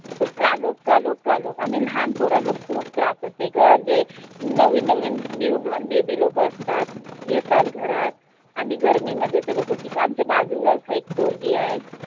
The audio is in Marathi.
कालोख कालोख कालोख आणि लहान पोराला खूप त्रास होते ग जे नवीन नवीन new born baby लोक असतात. येतात घरात आणि गर्मीमध्ये ते लोक किती आमच्या बाजूलाच एक पोरगी आहे.